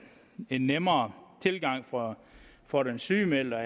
en nemmere tilgang for for den sygemeldte